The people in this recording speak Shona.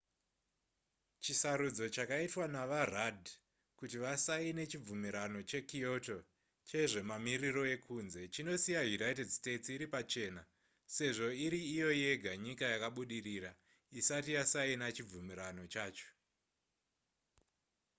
chisarudzo chakaitwa navarudd kuti vasaine chibvumirano chekyoto chezvemamiriro ekunze chinosiya united states iri pachena sezvo iri iyo yega nyika yakabudirira isati yasaina chibvumirano chacho